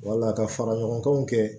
Wala ka fara ɲɔgɔnkanw kɛ